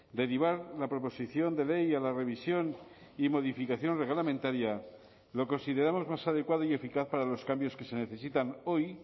derivar la proposición de ley a la revisión y modificación reglamentaria lo consideramos más adecuado y eficaz para los cambios que se necesitan hoy